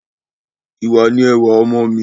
Ìwà ni ẹwà ọmọ mí